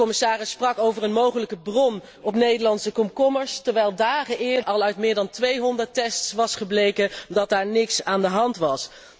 De commissaris sprak over een mogelijke bron op Nederlandse komkommers, terwijl dagen eerder al uit meer dan 200 tests was gebleken dat daar niets aan de hand was.